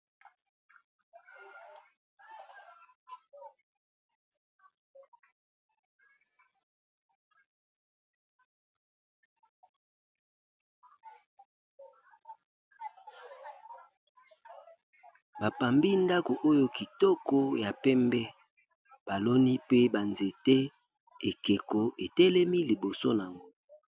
batongi ndako oyo kitoko ya pembe baloni pe banzete ekeko etelemi liboso nango